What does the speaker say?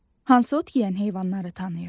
Hansı ot yeyən heyvanları tanıyırsan?